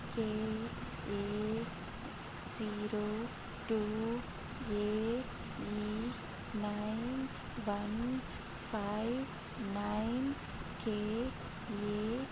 K A zero two A E nine one five nine K A